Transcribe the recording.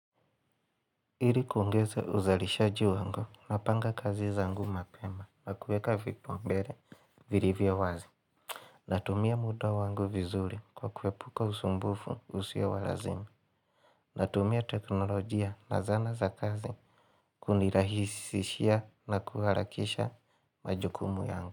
Ili kuongeza uzalishaji wangu napanga kazi zangu mapema na kueka vipaumbele vilivyo wazi. Natumia muda wangu vizuri kwa kuepuka usumbufu usio wa lazimi. Natumia teknolojia na zana za kazi kunirahisishia na kuharakisha majukumu yangu.